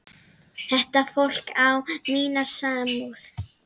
Þetta fólk á mína samúð.